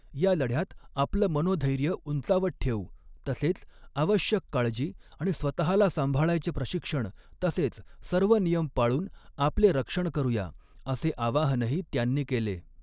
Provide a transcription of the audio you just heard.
या लढ्यात आपलं मनोधैर्य उंचावत ठेवू तसेच आवश्यक काळजी आणि स्वतःला सांभाळायचे प्रशिक्षण तसेच सर्व नियम पाऴून आपले रक्षण करूया, असे आवाहनही त्यांनी केले.